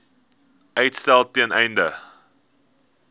uitstel ten einde